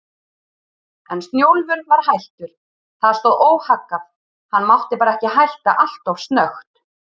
En Snjólfur var hættur, það stóð óhaggað, hann mátti bara ekki hætta alltof snöggt.